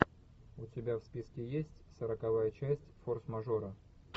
у тебя в списке есть сороковая часть форс мажоры